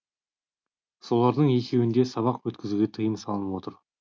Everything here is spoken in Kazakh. солардың екеуінде сабақ өткізуге тыйым салынып отыр